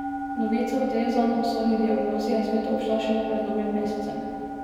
Novica o tej zanj usodni diagnozi je svet obšla šele pred dobrim mesecem.